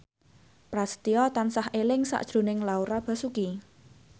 Prasetyo tansah eling sakjroning Laura Basuki